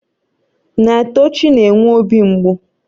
Naetochi na-enwe obi mgbu